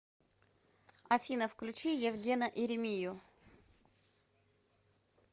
афина включи евгена иримию